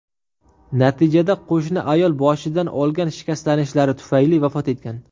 Natijada qo‘shni ayol boshidan olgan shikastlanishlari tufayli vafot etgan.